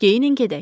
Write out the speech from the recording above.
Geyinin gedək.